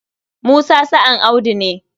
Musa sa'an Audu ne.